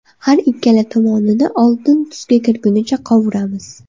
Har ikkala tomonini oltin tusga kirgunicha qovuramiz.